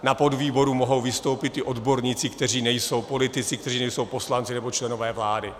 Na podvýboru mohou vystoupit i odborníci, kteří nejsou politici, kteří nejsou poslanci nebo členové vlády.